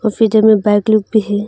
Feature में back look भी है।